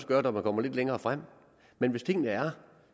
gøre når man kommer lidt længere frem men hvis tingene er